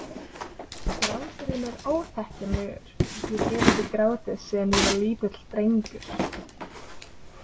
Gráturinn er óþekkjanlegur, ég hef ekki grátið síðan ég var lítill drengur.